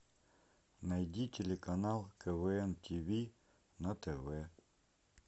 найди телеканал квн тиви на тв